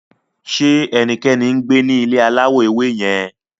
Ṣe ẹnikẹni ngbe ni ile alawọ ewe yẹn